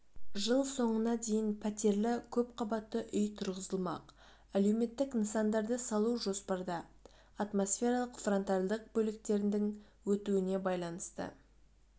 жыл соңына дейін пәтерлі көпқабатты үй тұрғызылмақ әлеуметтік нысандарды салу жоспарда атмосфералық фронтальдық бөліктердің өтуіне байланысты